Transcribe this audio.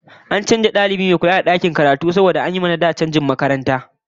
An canza dalibi mai kula da dakin karatu saboda an yi wa na da canjin makaranta